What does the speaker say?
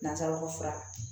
N'an taara ko fura la